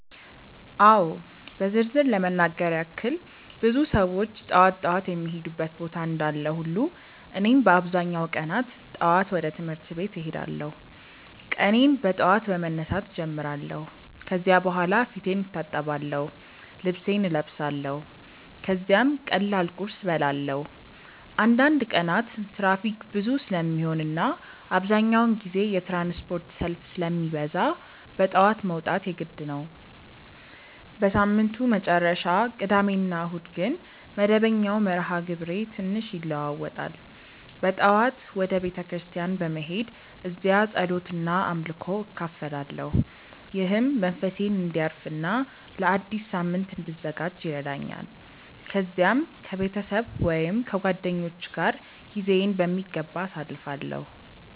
አዎ በዝርዝር ለመናገር ያክል ብዙ ሰዎች ጠዋት ጠዋት የሚሄዱበት ቦታ እንዳለ ሁሉ እኔም በአብዛኛው ቀናት ጠዋት ወደ ትምህርት ቤት እሄዳለሁ። ቀኔን በጠዋት በመነሳት እጀምራለሁ ከዚያ በኋላ ፊቴን እታጠብአለሁ፣ ልብሴን እለብሳለሁ ከዚያም ቀላል ቁርስ እበላለሁ። አንዳንድ ቀናት ትራፊክ ብዙ ስለሚሆን እና አብዛኛውን ጊዜ የትራንስፖርት ሰልፍ ስለሚበዛ በጠዋት መውጣት የግድ ነው። በሳምንቱ መጨረሻ (ቅዳሜ ወይም እሁድ) ግን መደበኛው መርሃ ግብሬ ትንሽ ይለዋዋጣል። በጠዋት ወደ ቤተ ክርስቲያን በመሄድ እዚያ ጸሎት እና አምልኮ እካፈላለሁ፣ ይህም መንፈሴን እንዲያርፍ እና ለአዲስ ሳምንት እንድዘጋጅ ይረዳኛል። ከዚያም ከቤተሰብ ወይም ከጓደኞች ጋር ጊዜዬን በሚገባ አሳልፋለሁ።